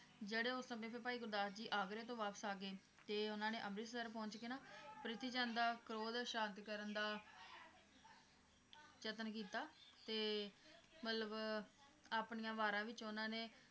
ਜਿਹੜੇ ਉਸ ਸਮੇਂ ਫਿਰ ਭਾਈ ਗੁਰਦਾਸ ਜੀ ਆਗਰੇ ਤੋਂ ਵਾਪਸ ਆ ਗਏ, ਤੇ ਉਹਨਾਂ ਨੇ ਅਮ੍ਰਿਤਸਰ ਪਹੁੰਚ ਕੇ ਨਾ ਪ੍ਰਿਥੀ ਚੰਦ ਦਾ ਕ੍ਰੋਧ ਸ਼ਾਂਤ ਕਰਨ ਦਾ ਯਤਨ ਕੀਤਾ ਤੇ ਮਤਲਬ ਆਪਣੀਆਂ ਵਾਰਾਂ ਵਿਚ ਉਹਨਾਂ ਨੇ